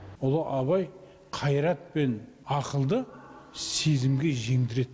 ұлы абай қайрат пен ақылды сезімге жеңдіреді